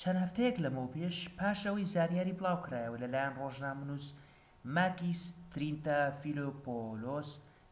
چەند هەفتەیەك لەمەوپێش پاش ئەوەی زانیاری بڵاوکرایەوە لەلایەن ڕۆژنامەنووس ماکیس ترینتافیلۆپۆلۆس